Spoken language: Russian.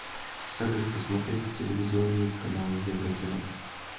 салют посмотреть телевизионный канал еврокино